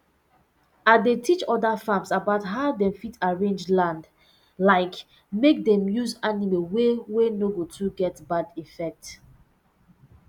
i dey teach other farms about how dem fit arrange land like make dem use animay way wey no go too get bad effect